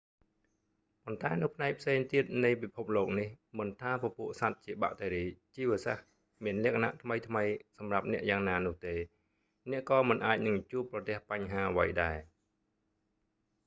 ប៉ុន្តែនៅផ្នែកផ្សេងទៀតនៃពិភពលោកនេះ មិនថាពពួកសត្វជាបាក់តេរីជីវសាស្រ្ត មានលក្ខណៈថ្មីៗសម្រាប់អ្នកយ៉ាងណានោះទេ អ្នកក៏មិនអាចនឹងជួបប្រទះបញ្ហាអ្វីដែរ